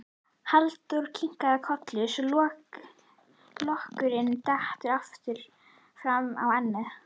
Halldóra kinkar kolli svo lokkurinn dettur aftur fram á ennið.